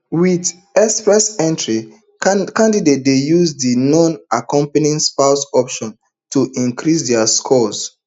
wit express entry candidates dey use di nonaccompanying spouse option to increase dia score